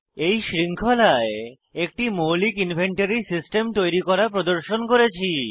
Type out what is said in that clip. এই শৃঙ্খলায় একটি মৌলিক ইনভেন্টরী সিস্টেম তৈরী করা প্রদর্শন করেছি